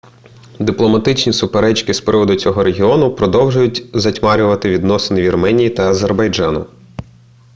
дипломатичні суперечки з приводу цього регіону продовжують затьмарювати відносини вірменії та азербайджану